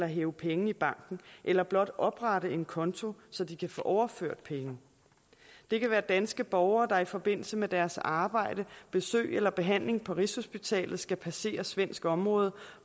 hæve penge i banken eller blot oprette en konto så de kan få overført penge det kan være danske borgere der i forbindelse med deres arbejde besøg eller behandling på rigshospitalet skal passere svensk område